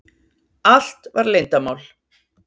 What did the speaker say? Allt var leyndarmál.